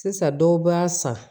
Sisan dɔw b'a san